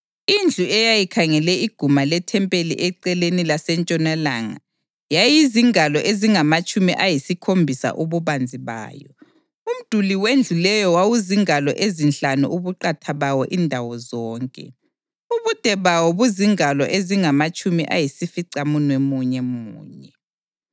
Indlu eyayikhangele iguma lethempeli eceleni lasentshonalanga yayizingalo ezingamatshumi ayisikhombisa ububanzi bayo. Umduli wendlu leyo wawuzingalo ezinhlanu ubuqatha bawo indawo zonke, ubude bawo buzingalo ezingamatshumi ayisificamunwemunye munye.